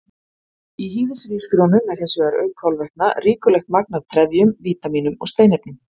Í hýðishrísgrjónum er hins vegar, auk kolvetna, ríkulegt magn af trefjum, vítamínum og steinefnum.